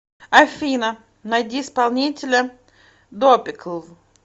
афина найди исполнителя допикл